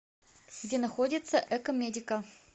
где находится экомедика